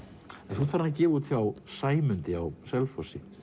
þú ert farinn að gefa út hjá Sæmundi á Selfossi